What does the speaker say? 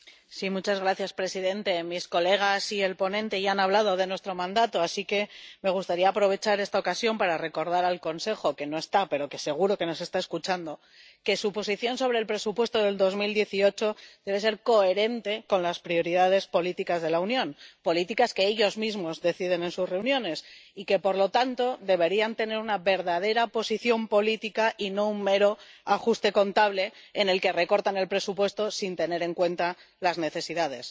Señor presidente, mis colegas y el ponente ya han hablado de nuestro mandato, así que me gustaría aprovechar esta ocasión para recordar al Consejo —que no está, pero que seguro que nos está escuchando— que su posición sobre el presupuesto de 2018 debe ser coherente con las prioridades políticas de la Unión —políticas que ellos mismos deciden en sus reuniones— y que, por lo tanto, debería contener una verdadera posición política y no ser un mero ajuste contable en el que se recorta el presupuesto sin tener en cuenta las necesidades.